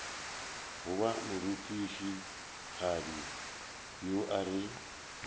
goba morutišigadi yo a re